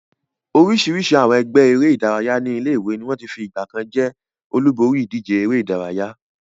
Oríṣiríṣi àwọn ẹgbẹ́ eré-idárayá ní ilé-ìwé ni wọ́n ti fi ìgbà kan jẹ́ olúborí ìdíje eré-idárayá.